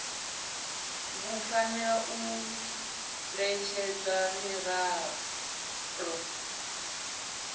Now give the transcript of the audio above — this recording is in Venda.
vhu fanela u ṋetshedzwa miraḓo